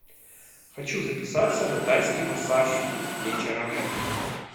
хочу записаться на тайский массаж вечером